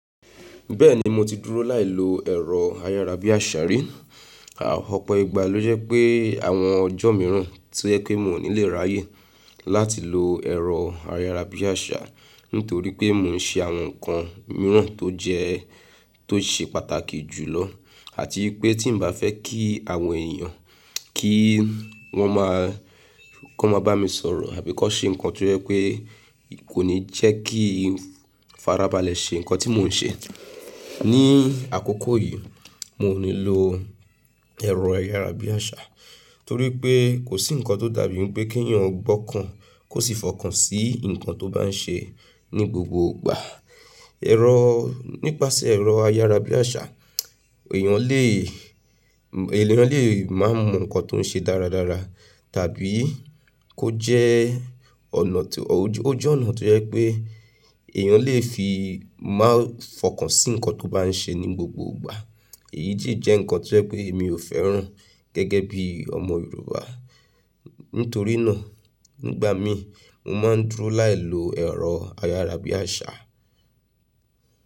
Bẹ́ẹ̀ni mo ti dúró láì lo ẹ̀rọ ayárabíàṣá rí. Àpọ̀pọ̀ ìgbà ló jẹ́ pé àwọn ọjọ́ mìíràn tí o je pé mi ò ní lè ráyè láti lo ẹ̀rọ ayárabíàṣá nítorí pé mò ń ṣe àwọn nǹkan mìíràn tó jẹ́, tó ṣe pàtàkì jù lọ àti pé tí n bá fẹ́ kí àwọn èèyàn kí wọ́n máa, kó máa bá mi sọ̀rọ̀ àbí kó ṣe nǹkan tí ẹ pé kò ní jẹ́ kí n farabalẹ̀ ṣe nǹkan tí mò ń ṣe. Ní àkókò yìí, mò ní lò ẹ̀rọ ayárabíàṣá torí pé kò sí nǹkan tó dàbí pé kí èèyàn gbọ́kan kó sì fọkàn sí nǹkan tó bá n ṣe ní gbogbo ìgbà. Ẹ̀rọ́, nípasẹ̀ ẹ̀rọ ayárabíàṣá èèyàn lè, èèyàn lè má mọ nǹkan tó ń ṣe dáradára tàbí kó jẹ́ ọ̀nà tó, ó jẹ́ ọ̀nà tó jẹ́ pé èèyàn lè fi má fọkàn sí nǹkan tó bá n ṣe ní gbogbo ìgbà. Èyí jẹ́ nǹkan tí ẹ pé mi ò fẹ́ràn gẹ́gẹ́ bí ọmọ Yorùbá. Nítorí náà nígbà mí mò máa ń dúró láì lo ẹ̀rọ ayárabíàṣá.